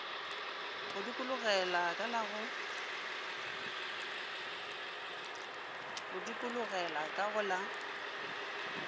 go dikologela ka go la